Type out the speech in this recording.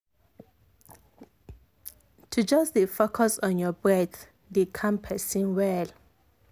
to just dey focus on your breath dey calm person well.